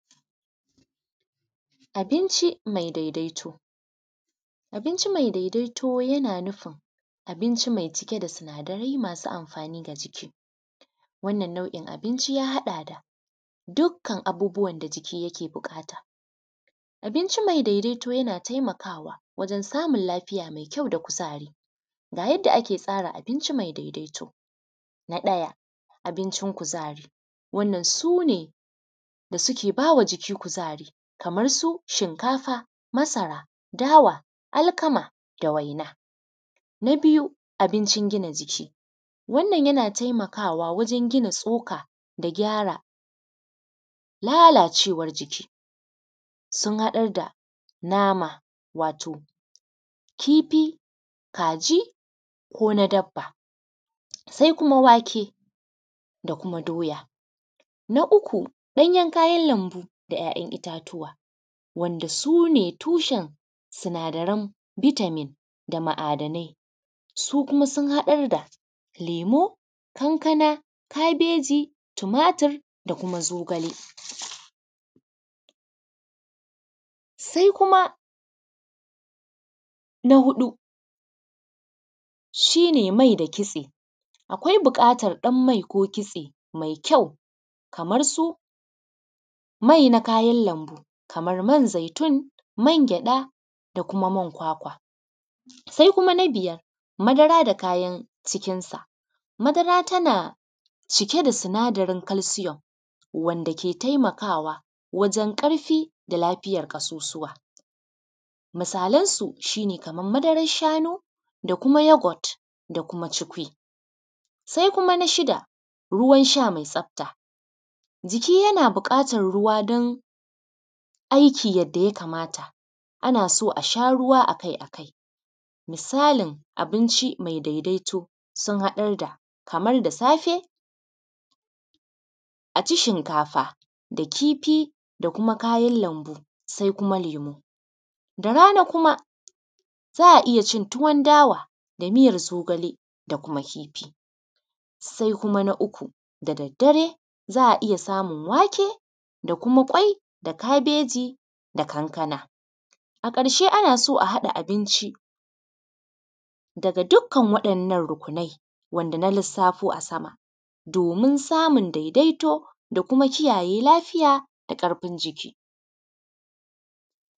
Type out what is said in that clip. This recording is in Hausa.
Abinci mai daidaito. Abinci mai dadaito yana nufin abinci mai cike da sinadarai masu amfani ga jiki. Wannan nau’in abinci ya haɗa da dukkan abubuwan da jiki yake buƙata. Abinci mai daidaito yana taimakawa wajan samun lafiya da kuzari, ga yadda ake tsara abinci mai daidaito. Na ɗaya abincin kuzari. Wannan sune da suke ba wa jiki kuzari kamar su shinkafa, masara, dawa, alkama, da waina. Na biyu abincin gina jiki. Wannan yana taimakawa wajan gina tsoka da gyara lalacewar jiki. Sun haɗar da nama, wato kifi, kaji, ko na dabba, sai kuma wake da kuma doya. Na uku ganyan kayan lambu da ‘ya’yan itatuwa wanda sune tushen sinadaran bitamin da ma’adanai. Su kuma sun haɗar da lemu, kankana, kabeji, tumatur da kuma zogale. Sai kuma na hudu shi ne mai da kitse. Akwai buƙatar ɗan mai ko kitse mai kyau kamar su mai na kayan lambu kamar man zaitun, man gyaɗa, da kuma man kwakwa. Sai kuma na biyar madara da kayan cikinsa. Madara tana cike da sinadarin kalsiyom wanda ke taimakawa wajen ƙarfi da lafiyar ƙasusuwa. Misalan su shi ne kamar madaran shanu, da kuma yogot, da kuma ciku. Sai kuma na shida ruwan sha mai tsafta. Jiki yana buƙatan ruwa dn aiki yadda ya kamata. Ana so asha ruwa akai akai. Misalin abinci mai daidaito sun haɗarda kamar da safe a ci shinkafa da kifi, da kuma kayan lambu, sai kuma lemu. Da rana kuma za a iya cin tuwon dawa da miyar zogale da kuma kifi, sai kuma na uku da daddare za a iya samun wake da kuma ƙwai, kabeji da kuma kankana. A ƙarshe ana so a haɗa abinci daga dukkan ruƙunai wanda na lissafo a sama domin samun daidaito da kuma kiyaye lafiya da ƙarfin jiki.